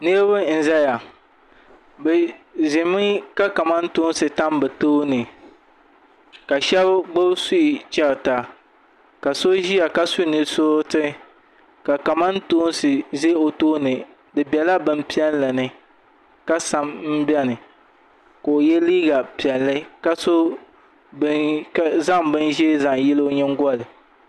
niriba n-zaya bɛ ʒimi ka kamantoosi tam bɛ tooni ka shɛba gbubi suhi chɛrita ka so ʒia ka su nusuriti ka kamantoosi be o tooni di bela bimpiɛlli ni ka sam m-beni ka o ye liiga piɛlli ka zaŋ binʒee zaŋ yili o nyingoli